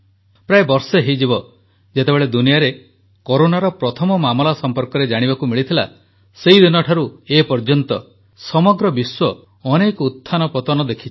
ପ୍ରାୟ ପ୍ରାୟ ବର୍ଷେ ହୋଇଯିବ ଯେତେବେଳେ ଦୁନିଆରେ କରୋନାର ପ୍ରଥମ ମାମଲା ସମ୍ପର୍କରେ ଜାଣିବାକୁ ମିଳିଥିଲା ସେହିଦିନଠାରୁ ଏପର୍ଯ୍ୟନ୍ତ ସମଗ୍ର ବିଶ୍ୱ ଅନେକ ଉତ୍ଥାନପତନ ଦେଖିଛି